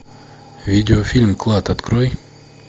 видео фильм клад открой